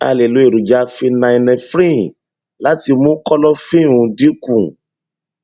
a lè lo èròjà phenylnephrine láti mú kọlọfínè um dín kù